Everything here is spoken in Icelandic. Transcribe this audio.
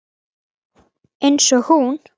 Eins og hún.